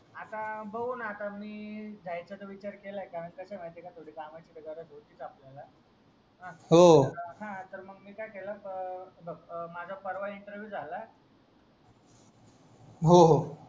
आता बघू ना आता मी जायचा च विचार केलाय का कस म्हायतीक थोडी कामची गरज होती च आपल्याला हो हा तर मी मंग काय केला तर हे बघ माझा परवा इंटरविव्ह झाला होहो